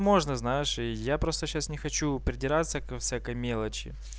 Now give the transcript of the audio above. можно знаешь и я просто сейчас не хочу придираться ко всякой мелочи